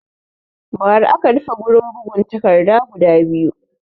Ba ra aka rufe gurin bad'in takarda guda biyu